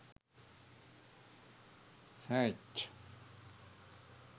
search